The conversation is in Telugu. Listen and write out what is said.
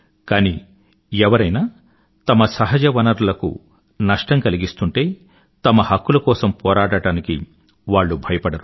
కానీ ఎవరైనా తమ సహజ వనరులకు నష్టం కలిగిస్తుంటే తమ హక్కుల కోసం పోరాడటానికి వాళ్ళు భయపడరు